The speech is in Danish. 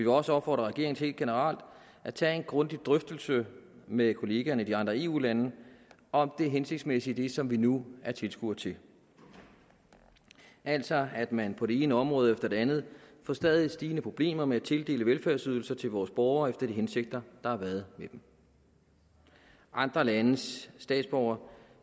også opfordre regeringen til helt generelt at tage en grundig drøftelse med kollegerne i de andre eu lande om det hensigtsmæssige i det som vi nu er tilskuere til altså at man på det ene område efter det andet får stadig stigende problemer med at tildele velfærdsydelser til vores borgere efter de hensigter der har været med dem andre landes statsborgere